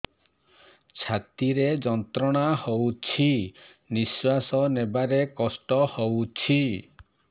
ଛାତି ରେ ଯନ୍ତ୍ରଣା ହଉଛି ନିଶ୍ୱାସ ନେବାରେ କଷ୍ଟ ହଉଛି